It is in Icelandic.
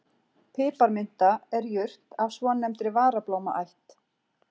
Piparminta er jurt af svonefndri varablómaætt.